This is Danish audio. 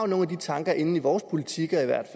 nogle af de tanker inde i vores politikker